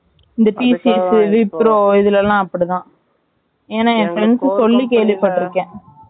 இந்த TCS , Wipro இதுலாம் அப்படி தான் ஏன்னா என் friends சொல்லி கேட்டுருக்கேன்